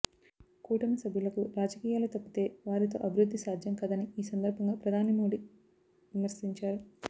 కూటమి సభ్యులకు రాజకీయాలు తప్పితే వారితో అభివృద్ధి సాధ్యం కాదని ఈ సందర్భంగా ప్రధాని మోడీ విమర్శించారు